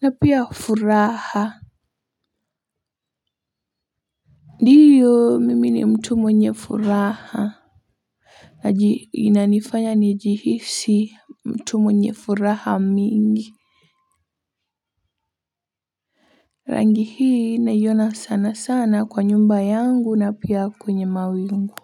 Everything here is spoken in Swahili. na pia furaha ndiyo mimi ni mtu mwenye furaha na inanifanya nijihisi mtu mwenye furaha mingi rangi hii naiona sanasana kwa nyumba yangu na pia kwenye mawingu.